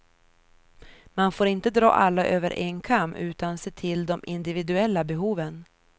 Man får inte dra alla över en kam, utan se till de individuella behoven.